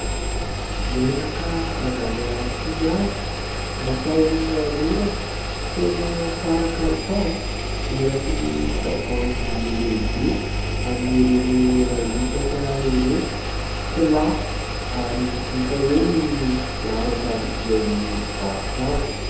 Menaka avy any Toliara natao hanorana, tena tsara kalitao, eraky ny tavoahangy lehibe amin'ireny iray litatra ireny, tsy lafo ary hita eo ny laharan-tarobian'ny mpivarotra azy.